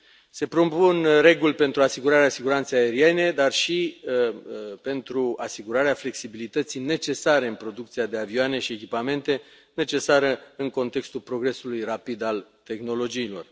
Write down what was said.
Se propun reguli pentru asigurarea siguranței aeriene, dar și pentru asigurarea flexibilității necesare în producția de avioane și echipamente, necesară în contextul progresului rapid al tehnologiilor.